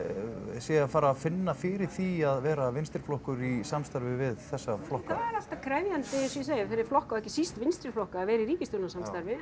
sé að fara að finna fyrir því að vera vinstri flokkur í samstarfi við þessa flokka er alltaf krefjandi eins og ég segi fyrir flokka og ekki síst vinstri flokka að vera í ríkisstjórnarsamstarfi